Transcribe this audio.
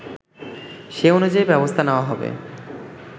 সে অনুযায়ী ব্যবস্থা নেওয়া হবে